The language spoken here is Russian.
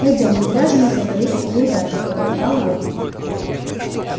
пойдём не зря же мы забрались в такую даль пробормотал рон